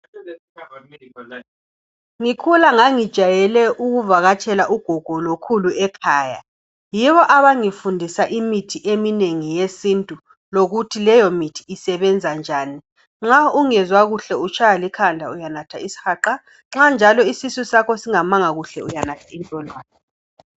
Ngikhula ngangijayele ukuvakatshela ugogo lokhulu ekhaya. Yibo abangifundisa imithi eminengi yesintu lokuthi leyo mithi isebenza njani. Nxa ungezwa kuhle utshaywa likhanda uyanathe es'haqa, nxa njalo isisu sakho singamanga kuhle uyanatha intolwane.